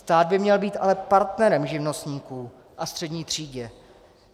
Stát by měl být ale partnerem živnostníkům a střední třídě.